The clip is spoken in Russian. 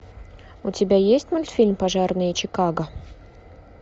у тебя есть мультфильм пожарные чикаго